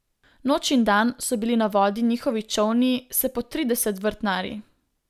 Noč in dan so bili na vodi njihovi čolni s po trideset vrtnarji.